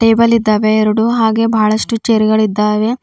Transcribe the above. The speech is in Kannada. ಟೇಬಲ್ ಇದ್ದಾವೆ ಎರಡು ಹಾಗು ಬಹಳಷ್ಟು ಚೇರ್ ಗಳಿದ್ದಾವೆ.